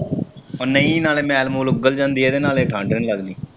ਓ ਨਹੀਂ ਨਾਲ ਮੈਲ ਮੁਲ ਓਂਗਲ ਜਾਂਦੀ ਆ ਤੇ ਨਾਲ ਠੰਢ ਨੀ ਲੱਗਦੀ।